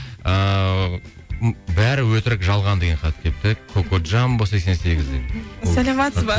ыыы м бәрі өтірік жалған деген хат келіпті кокоджамбо сексен сегізден саламатсыз ба